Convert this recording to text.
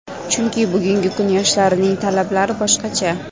Chunki, bugungi kun yoshlarining talablari boshqacha.